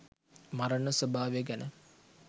මරණ ස්වභාවය ගැන